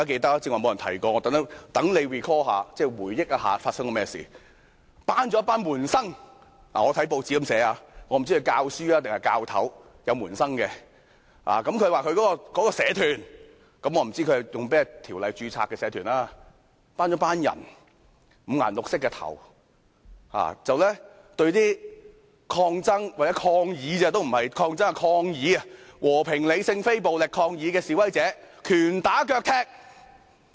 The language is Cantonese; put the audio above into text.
我看到報章是這樣寫的：曾先生召集了一些社團的門生——我不知道他是教師還是教頭才會有門生，亦不知道他是在哪項條例之下把組織註冊成為社團——召集了一些頭髮五顏六色的人，對只是和平、理性、非暴力抗議的示威者，拳打腳踢。